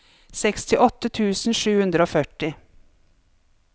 sekstiåtte tusen sju hundre og førti